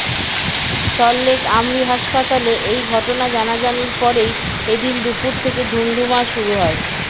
সল্টলেক আমরি হাসপাতালে এই ঘটনা জানাজানির পরেই এ দিন দুপুর থেকে ধুন্ধুমার শুরু হয়